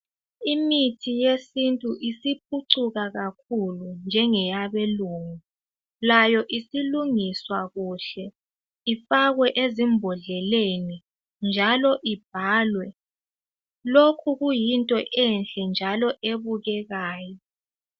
Imithi yesintu isiphucuka kakhulu njengeyabelungu. Layo isilungiswa kuhle ifakwe ezimbodleleni njalo ibhalwe, lokhu kuyinto enhle njalo ebukekayo.